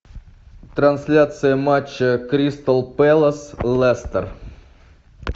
трансляция матча кристал пэлас лестер